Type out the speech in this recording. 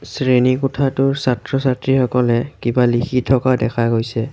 শ্ৰেণীকোঠাটোৰ ছাত্ৰ ছাত্ৰী সকলে কিবা লিখি থকা দেখা গৈছে।